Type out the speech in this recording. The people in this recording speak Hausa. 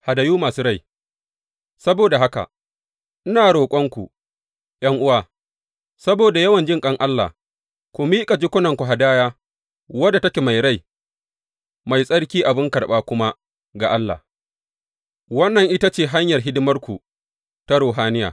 Hadayu masu rai Saboda haka, ina roƙonku, ’yan’uwa, saboda yawan jinƙan Allah, ku miƙa jikunanku hadaya wadda take mai rai, mai tsarki abin karɓa kuma ga Allah, wannan ita ce hanyar hidimarku ta ruhaniya.